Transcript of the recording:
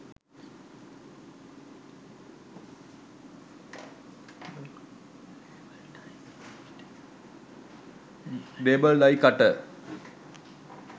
label die cutter